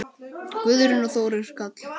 Guðrún og Þórir Karl.